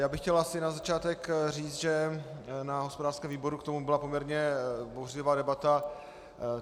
Já bych chtěl asi na začátek říct, že na hospodářském výboru k tomu byla poměrně bouřlivá debata.